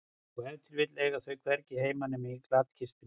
Og ef til vill eiga þau hvergi heima nema í glatkistunni.